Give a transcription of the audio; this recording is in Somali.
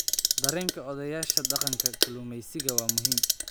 Dareenka odayaasha dhaqanka kalluumeysiga waa muhiim.